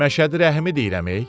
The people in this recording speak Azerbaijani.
Məşədi Rəhimi deyirəm.